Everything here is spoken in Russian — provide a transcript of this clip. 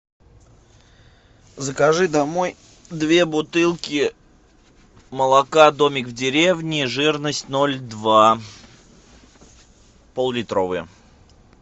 закажи домой две бутылки молока домик в деревне жирность ноль два поллитровые